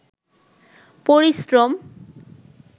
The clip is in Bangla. পরিশ্রম